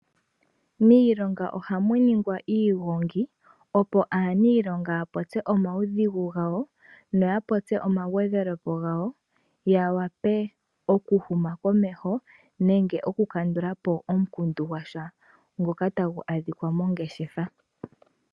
Miilonga ohamu ningwa iigongi opo aaniilonga ya popye omawudhigu gawo. Noya popye oma gwedhele po gawo. Ya vule oku huma komeho nenge oku kandulapo omukundu gwasha.